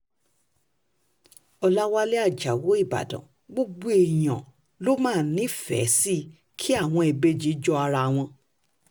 ọ̀làwálẹ̀ ajáò ìbàdàn gbogbo èèyàn ló máa ń nífẹ̀ẹ́ sí kí àwọn ìbejì jọ ara wọn